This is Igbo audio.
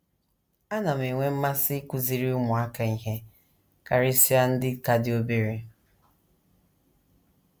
Ana m enwe mmasị ịkụziri ụmụaka ihe, karịsịa ndị ka dị obere.